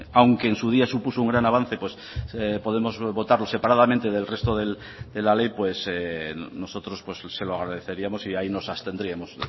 aunque en su día supuso un gran avance podemos votarlo separadamente del resto de la ley nosotros se lo agradeceríamos y ahí nos abstendríamos